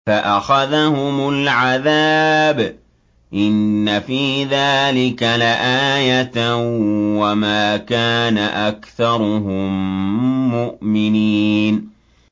فَأَخَذَهُمُ الْعَذَابُ ۗ إِنَّ فِي ذَٰلِكَ لَآيَةً ۖ وَمَا كَانَ أَكْثَرُهُم مُّؤْمِنِينَ